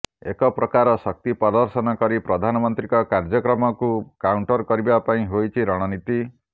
ଏକ ପ୍ରକାର ଶକ୍ତି ପ୍ରଦର୍ଶନ କରି ପ୍ରଧାନମନ୍ତ୍ରୀଙ୍କ କାର୍ୟ୍ୟକ୍ରମକୁ କାଉଣ୍ଟର କରିବା ପାଇଁ ହୋଇଛି ରଣନୀତି